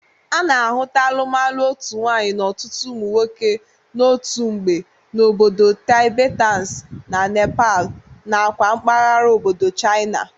A na-ahụta alụmalụ otu nwaanyị n'ọtụtụ ụmụ nwoke n'otu mgbe n'obodo Tibetans na Nepal nakwa mbagara obodo China.